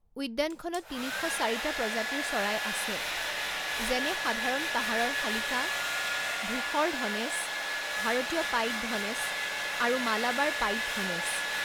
উদ্যানখনত তিনি শ চাৰিটা প্ৰজাতিৰ চৰাই আছে, যেনে সাধাৰণ পাহাৰৰ শালিকা, ধূসৰ ধনেশ, ভাৰতীয় পাইড ধনেশ আৰু মালাবাৰ পাইড ধনেশ।